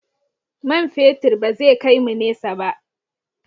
Man fetur ba zai kai mu nesa ba.